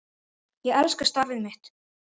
Ég elska starfið mitt.